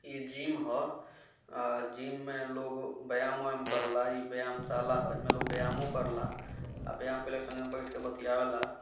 इ जिम है और जिम में लोग व्याम-व्याम करेला इ व्यामसाला है | इ मे लोग व्यामो करेला अ व्याम करले संग बइठ के बतियेला ।